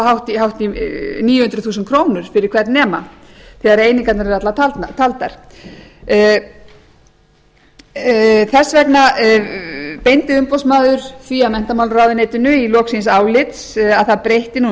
hátt í níu hundruð þúsund krónur fyrir hvern nema þegar einingarnar eru allar taldar þess vegna beindi umboðsmaður því að menntamálaráðuneytinu í lok síns álits að það breytti nú um